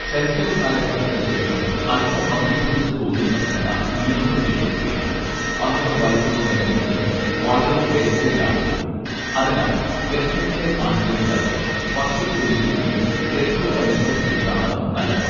ശൈശവകാലഘട്ടത്തിനു ശേഷം അൽപം മന്ദീഭവിച്ച തോതിൽ നടക്കുന്ന നീളംവെയ്ക്കൽ പ്രക്രിയ പന്ത്രണ്ടു വയസ്സിനോടനുബന്ധിച്ച് വളരെ വേഗതയിലാകുന്നു അതിനാൽ ലക്ഷണങ്ങളെ ആശ്രയിക്കാതെ വർഷത്തിലൊരിക്കലെങ്കിലും രക്തം പരിശോധിക്കുന്നതാണു നല്ലത്